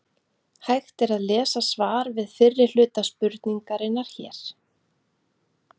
Hægt er að lesa svar við fyrri hluta spurningarinnar hér.